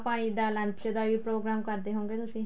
ਪਾਣੀ ਦਾ lunch ਦਾ ਹੀ program ਕਰਦੇ ਹੋਵੇਗੇ ਤੁਸੀਂ